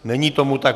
Není tomu tak.